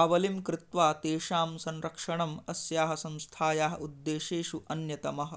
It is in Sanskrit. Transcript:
आवलिं कृत्वा तेषां संरक्षणम् अस्याः संस्थायाः उद्देशेषु अन्यतमः